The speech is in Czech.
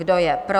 Kdo je pro?